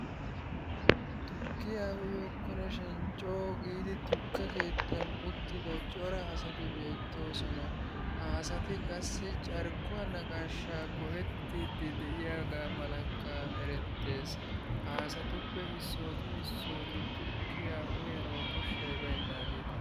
Tukkiyaa oyokkonashin coo giidi tukke keettan uttida cora asati beettoosona. Ha asati qassi carkkuwaa naqaashshaa go'ettiiddi de'iyaagaa malakka erettees. Ha asatuppe issooti issooti tukkiyaa uyanawu koshshay baynaageeta.